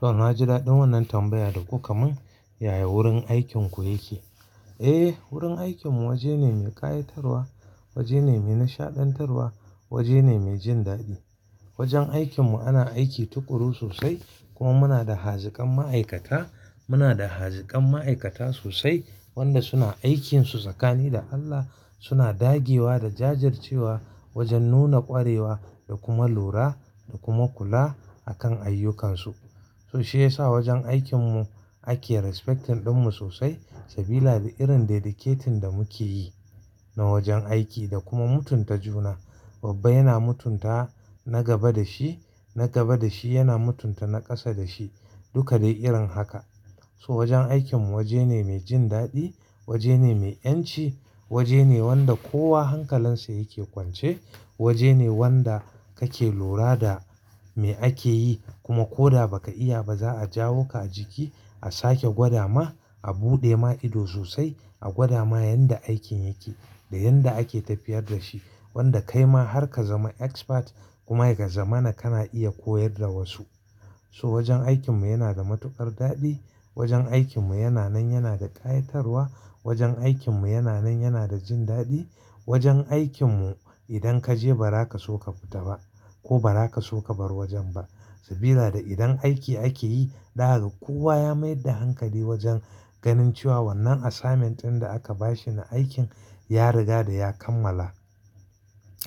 To, na ji daɗin wannan tambaya da kuka mun. Yaya wurin aikin ku yake? Eh, wurin aikinmu waje ne mai ƙayatarwa, waje ne mai nishaɗantarwa, waje ne mai jin daɗi. Wajen aikinmu ana aiki tukuru sosai kuma muna da haziƙan ma'aikata, muna da haziƙan ma'aikata sosai wanda suna aikinsu tsakani da Allah, suna dagewa da jajircewa wajen nuna ƙwarewa da kuma lura da kuma kula akan ayyukansu. So shi ya sa wajen aikinmu ake respecting ɗinmu sosai sabila da irin dedicating da muke yi na wajen aiki da kuma mutunta juna. Babba yana mutunta na gaba da shi, na gaba da shi yana mutunta na ƙasa da shi, duka dai irin haka. So wajen aikinmu waje ne mai jin daɗi, waje ne mai ƴanci, waje ne wanda kowa hankalinsa yake kwance, waje ne wanda kake lura da me ake yi kuma ko da ba ka iya ba za a jawo ka a jiki, a sake gwada ma, a buɗe ma ido sosai, a gwada ma yanda aikin yake da yanda ake tafiyar da shi wanda kai ma har ka zama expert kuma ya zamana kana iya koyar da wasu. So wajen aikinmu yana da matuƙar daɗi, wajen aikinmu yana nan yana da ƙayatarwa, wajen aikinmu yana nan yana da jin daɗi, wajen aikinmu idan ka je ba za ka so ka fita ba ko ba za ka so ka bar wajen ba sabila da idan aiki ake yi za ka ga kowa ya mayar da hankali wajen ganin cewa wannan assignment ɗin da aka bashi na aikin ya riga da ya kammala.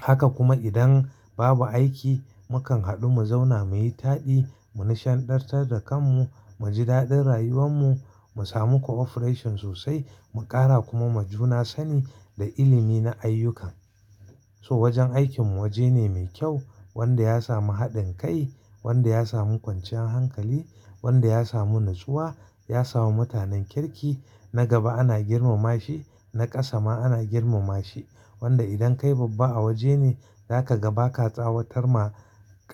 Haka kuma idan babu aiki, mu kan haɗu mu zauna mu yi taɗi, mu nishaɗantar da kanmu, mu ji daɗin rayuwanmu, mu samu cooperation sosai, mu ƙara kuma ma juna sani da ilimi na ayyukan. To wajen aikinmu waje ne mai kyau wanda ya samu haɗin kai, wanda ya samu kwanciyar hankali, wanda ya samu nutsuwa, ya samu mutanen kirki. Na gaba ana girmama shi, na ƙasa ma ana girmama shi wanda idan kai babba a waje ne, za ka ga ba ka tsawatar ma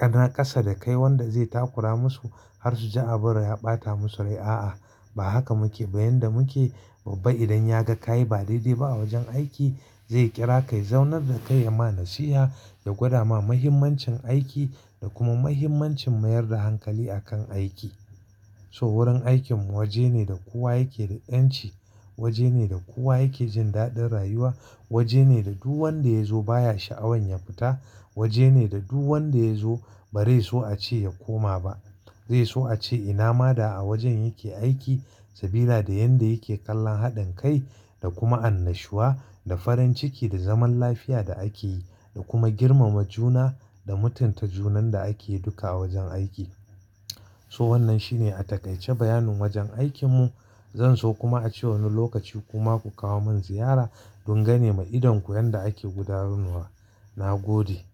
na ƙasa da kai wanda zai takura musu har su ji abin ya ɓata musu rai. A'a, ba haka muke ba, yanda muke babba idan ya ga ka yi ba daidai ba a wajen aiki, zai ƙira ka ya zaunar da kai ya ma nasiha da gwada ma muhimmancin aiki da kuma muhimmancin mayar da hankali a kan aiki. So wurin aikinmu waje ne da kowa yake da ƴanci, waje ne da kowa yake jin daɗin rayuwa, waje ne da duk wanda ya zo baya sha'awan ya fita, waje ne da duk wanda ya zo ba zai so a ce ya koma ba. Zai so a ce ina ma da a wajen yake aiki sabila da yanda yake kallon haɗin kai da kuma annashuwa da farin ciki da zaman lafiya da ake yi da kuma girmama juna da mutunta junan da ake duka a wajen aiki. To wannan shine a taƙaice bayanin wajen aikinmu. Zan so kuma a ce wani lokaci kuma ku kawo mun ziyara don gane ma idanku yanda ake gudanarwa. Na gode.